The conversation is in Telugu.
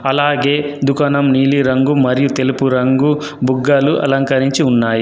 అలాగే దుకాణం నీలిరంగు మరియు తెలుపు రంగు బుగ్గలు అలంకరించి ఉన్నాయి.